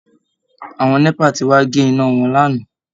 Àwọn NEPA ti wá gé iná wọn lánàá